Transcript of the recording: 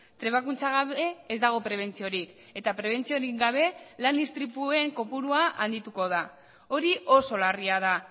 trebakuntza gabe ez dago prebentziorik eta prebentziorik gabe lan istripuen kopurua handituko da hori oso larria da